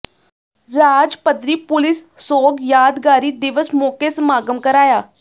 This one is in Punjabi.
ਰਾਜ ਪੱਧਰੀ ਪੁਲਿਸ ਸੋਗ ਯਾਦਗਾਰੀ ਦਿਵਸ ਮੌਕੇ ਸਮਾਗਮ ਕਰਾਇਆ